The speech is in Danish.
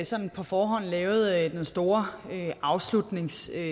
sådan på forhånd lavet den store afslutningsreplik